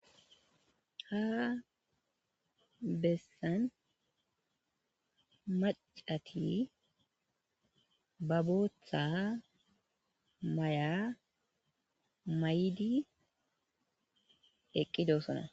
ha bessan macati babotha may7a may7idi eqqidosona